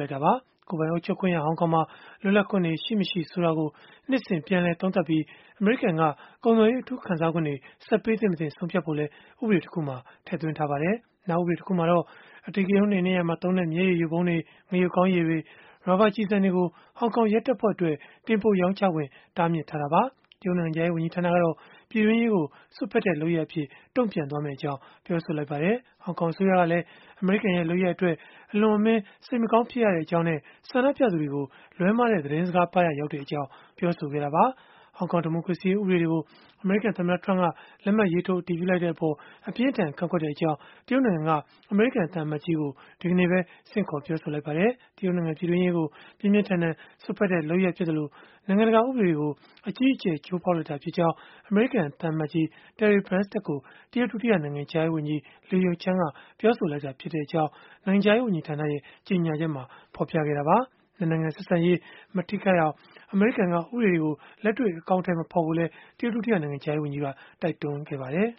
လိုက်တာပါ။ ကိုယ်ပိုင်အုပ်ချုပ်ခွင့်ရ ဟောင်ကောင်မှာ လွတ်လပ်ခွင့်တွေ ရှိ မရှိ ဆိုတာကို နှစ်စဉ် ပြန်လည်သုံးသပ်ပြီး အမေရိကန်က ကုန်သွယ်ရေး အထူးခံစားခွင့်တွေ ဆက်ပေးသင့် မသင့် ဆုံးဖြတ်ဖို့လည်း ဥပဒေတခုမှာ ထည့်သွင်းထားပါတယ်။ နောက်ဥပဒေတခုမှာတော့ အဓိကရုဏ်း နှိမ်နင်းရာမှာ သုံးတဲ့ မျက်ရည်ယိုဗုံးတွေ၊ ငရုပ်ကောင်းရည်တွေ၊ ရာဘာကျည်ဆန်တွေကို ဟောင်ကောင်ရဲတပ်ဖွဲ့အတွက် တင်ပို့ရောင်းချခွင့် တားမြစ်ထားတာပါ။ တရုတ်နိုင်ငံခြားရေး ဝန်ကြီးဌာနကတော့ ပြည်တွင်းရေးကို စွက်ဖက်တဲ့ လုပ်ရပ်အဖြစ် တုံ့ပြန်သွားမယ့်အကြောင်း ပြောဆိုလိုက်ပါတယ်။ ဟောင်ကောင်အစိုးရကလည်း အမေရိကန်ရဲ့ လုပ်ရပ်အတွက် အလွန်အမင်း စိတ်မကောင်း ဖြစ်ရကြောင်းနဲ့ ဆန္ဒပြသူတွေကို လွဲမှားတဲ့ သတင်းစကားပါးရာ ရောက်ကြောင်း ပြောဆိုခဲ့တာပါ။ ဟောင်ကောင် ဒီမိုကရေစီရေး ဥပဒေတွေကို အမေရိကန်သမ္မတ Donald Trump က လက်မှတ်ရေးထိုး အတည်ပြုလိုက်တဲ့အပေါ် အပြင်းအထန် ကန့်ကွက်ကြောင်း တရုတ်နိုင်ငံက အမေရိကန်သံအမတ်ကြီးကို ဒီကနေ့ပဲ ဆင့်ခေါ်ပြောဆိုလိုက်ပါတယ်။ တရုတ်နိုင်ငံ ပြည်တွင်းရေးကို ပြင်းပြင်းထန်ထန် စွက်ဖက်တဲ့ လုပ်ရပ်ဖြစ်သလို နိုင်ငံတကာ ဥပဒေတွေကို အကြီးအကျယ် ချိုးဖောက်လိုက်တာဖြစ်ကြောင်း အမေရိကန် သံအမတ်ကြီး Terry Branstad ကို တရုတ် ဒုတိယနိုင်ငံခြားရေးဝန်ကြီး Le Yucheng က ပြောဆိုလိုက်ကြောင်း နိုင်ငံခြားရေး ဝန်ကြီးဌာန ကြေညာချက်မှာ ဖော်ပြခဲ့တာပါ။ ၂ နိုင်ငံ ဆက်ဆံရေး မထိခိုက်အောင် အမေရိကန်က ဥပဒေတွေကို လက်တွေ့ အကောင်အထည် မဖော်ဖို့လည်း တရုတ် ဒုတိယနိုင်ငံခြားရေးဝန်ကြီးက တိုက်တွန်းခဲ့ပါတယ်